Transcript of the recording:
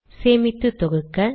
சேமித்து தொகுக்க